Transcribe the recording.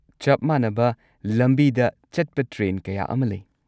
ꯆꯞ ꯃꯥꯟꯅꯕ ꯂꯝꯕꯤꯗ ꯆꯠꯄ ꯇ꯭ꯔꯦꯟ ꯀꯌꯥ ꯑꯃ ꯂꯩ꯫